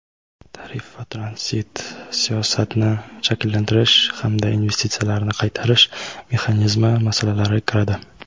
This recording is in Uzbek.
tarif va tranzit siyosatini shakllantirish hamda investitsiyalarni qaytarish mexanizmi masalalari kiradi.